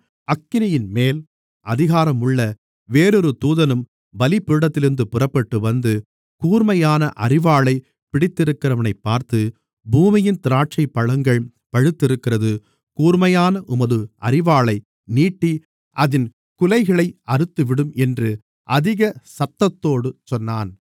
அக்கினியின்மேல் அதிகாரம் உள்ள வேறொரு தூதனும் பலிபீடத்திலிருந்து புறப்பட்டுவந்து கூர்மையான அரிவாளைப் பிடித்திருக்கிறவனைப் பார்த்து பூமியின் திராட்சைப்பழங்கள் பழுத்திருக்கிறது கூர்மையான உமது அரிவாளை நீட்டி அதின் குலைகளை அறுத்துவிடும் என்று அதிக சத்தத்தோடு சொன்னான்